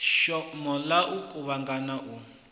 shoma ya u kuvhangana u